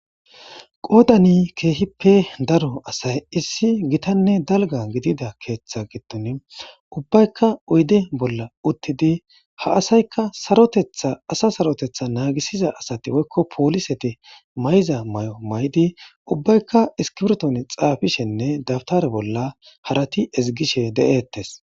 qoodani keehippe daro asay issi gitanne dalga gidida keeththa giddon ubbaykka oyde bolla uttidi ha asayka sartethaasa sarotetha naagisiza asati woykko pooliseti may7za may7o may7di ubbaykka iskibiton xaafishenne dabtare bolla harati ezigishe de7eettes